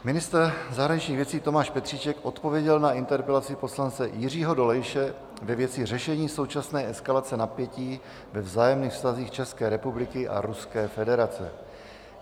Ministr zahraničních věcí Tomáš Petříček odpověděl na interpelaci poslance Jiřího Dolejše ve věci řešení současné eskalace napětí ve vzájemných vztazích České republiky a Ruské federace.